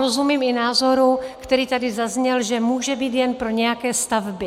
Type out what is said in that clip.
Rozumím i názoru, který tady zazněl, že může být jen pro nějaké stavby.